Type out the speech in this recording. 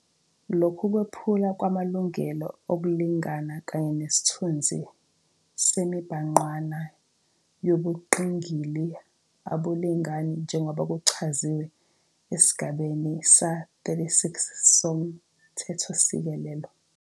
Lokhu kwephulwa kwamalungelo okulingana kanye nesithunzi semibhangqwana yobungqingili abulingani njengoba kuchaziwe esigabeni sama-36 soMthethosisekelo.